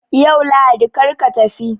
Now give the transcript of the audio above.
Yau Lahadi kar ka tafi!